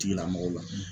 Tigilamɔgɔw la